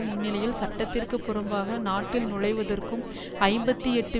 முன்நிலையில்சட்டத்திற்கு புறம்பாக நாட்டில் நுளைவதற்கும் ஐம்பத்தி எட்டு